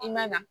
I man ka